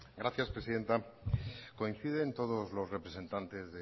gracias presidenta coinciden todos los representantes